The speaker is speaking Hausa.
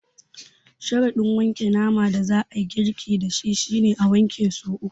Sharaɗin wanke naman da za a yi girki da shi shi ne, a wanke so uku.